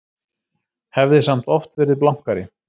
Hafði samt oft verið blankari.